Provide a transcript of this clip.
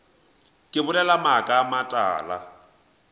ke bolela maaka a matala